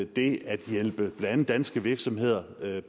det at hjælpe blandt andet danske virksomheder